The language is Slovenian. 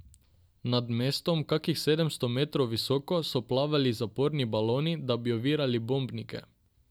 Nad mestom, kakih sedemsto metrov visoko, so plavali zaporni baloni, da bi ovirali bombnike.